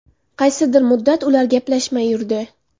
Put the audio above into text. Qaysidir muddat ular gaplashmay yurdi.